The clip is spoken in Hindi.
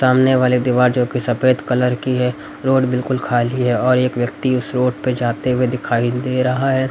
सामने वाले दीवार जोकि सफेद कलर की है रोड बिल्कुल खाली है और एक व्यक्ति उसे रोड पे जाते हुए दिखाई दे रहा है।